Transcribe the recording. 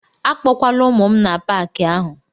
Akpọkwala ụmụ m n'Paakị ahụ!